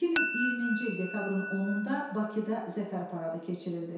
2020-ci il dekabrın 10-da Bakıda Zəfər paradı keçirildi.